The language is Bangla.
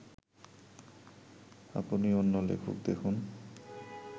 আপনি অন্য লেখক দেখুন'